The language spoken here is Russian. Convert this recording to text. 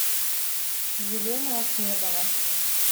елена ахмедова